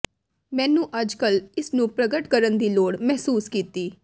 ਮੈਨੂੰ ਅੱਜਕੱਲ੍ਹ ਇਸ ਨੂੰ ਪ੍ਰਗਟ ਕਰਨ ਦੀ ਲੋੜ ਮਹਿਸੂਸ ਕੀਤੀ